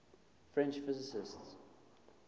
french physicists